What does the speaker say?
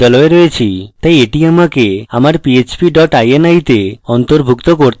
তাই এটি আমাকে আমার php dot ini তে অন্তর্ভুক্ত করতে হবে